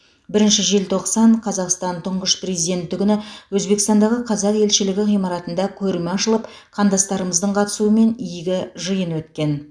бірінші желтоқсан қазақстан тұңғыш президенті күні өзбекстандағы қазақстан елшілігі ғимаратында көрме ашылып қандастарымыздың қатысуымен игі жиын өткен